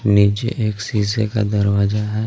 नीचे एक शीशे का दरवाजा है.